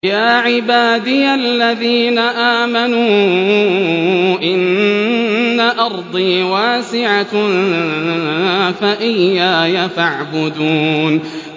يَا عِبَادِيَ الَّذِينَ آمَنُوا إِنَّ أَرْضِي وَاسِعَةٌ فَإِيَّايَ فَاعْبُدُونِ